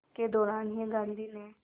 के दौरान ही गांधी ने